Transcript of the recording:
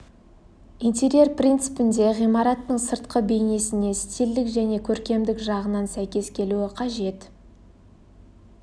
интерьер принципінде ғимараттың сыртқы бейнесіне стильдік және көркемдік жағынан сәйкес келуі қажет